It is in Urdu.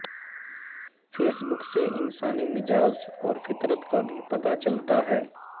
فیس بک سے انسانی مزاج اور فطرت کا بھی پتہ چلتا ہے